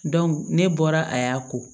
ne bɔra a y'a ko